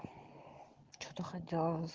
что-то хотела с